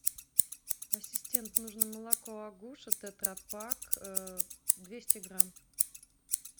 ассистент нужно молоко агуша тетрапак двести грамм